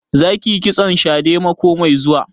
Za ki yi kitson shadè mako mai zuwa?